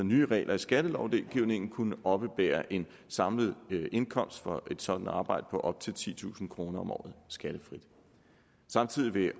nye regler i skattelovgivningen kunne oppebære en samlet indkomst for et sådant arbejde på op til titusind kroner om året skattefrit samtidig vil